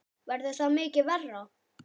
Verður það mikið verra?